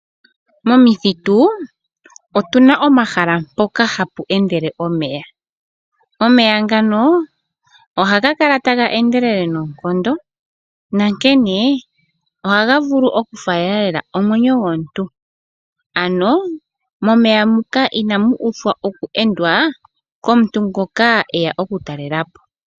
Momithitu otu na omahala mpoka hapu endele omeya. Omeya ngano ohaga kala taga endelele noonkondo nankene ohaga vulu okufaalela lela omwenyo gomuntu ano momeya muka ina mu uthwa oku endwa komuntu ngoka eya okutalelapo.